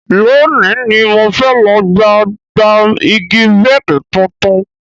Lónìí ni mo fẹ́ lọ gba gba igi bẹ́ẹ̀dì tuntun